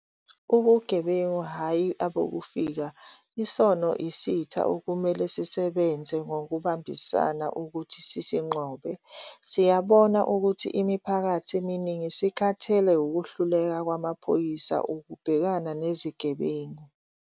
Ubugebengu, hhayi abokufika, isona isitha okumele sisebenze ngokubambisana ukuthi sisinqobe. Siyabona ukuthi imiphakathi eminingi isikhathele ukuhluleka kwamaphoyisa ukubhekana nezigebengu.